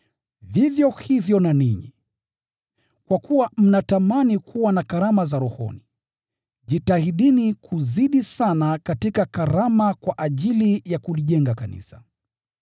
Vivyo hivyo na ninyi. Kwa kuwa mnatamani kuwa na karama za rohoni, jitahidini kuzidi sana katika karama kwa ajili ya kulijenga kanisa.